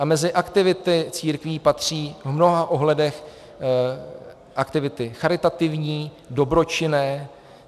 A mezi aktivity církví patří v mnoha ohledech aktivity charitativní, dobročinné.